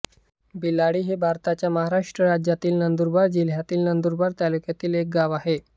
बिलाडी हे भारताच्या महाराष्ट्र राज्यातील नंदुरबार जिल्ह्यातील नंदुरबार तालुक्यातील एक गाव आहे